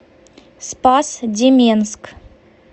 спас деменск